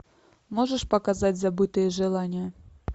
можешь показать забытые желания